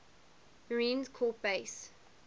marine corps base